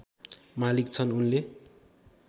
मालिक छन् उनले